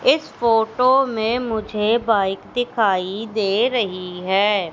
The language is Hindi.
इस फोटो में मुझे बाइक दिखाई दे रही है।